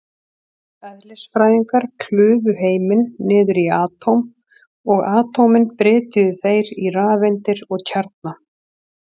Eðlisfræðingar klufu heiminn niður í atóm, og atómin brytjuðu þeir í rafeindir og kjarna.